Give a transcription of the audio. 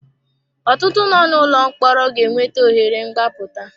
Ọtụtụ nọ n'ụlọ mkpọrọ ga enweta ohere mgbaputa.